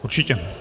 Určitě.